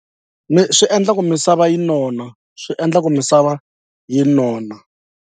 swi endla ku misava yi nona swi endla ku misava yi nona.